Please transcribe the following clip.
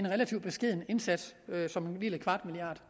relativt beskeden indsats som en lille kvart milliard